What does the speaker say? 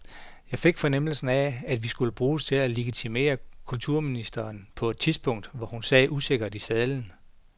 Jeg fik fornemmelsen af, at vi skulle bruges til at legitimere kulturministeren på et tidspunkt, hvor hun sad usikkert i sadlen.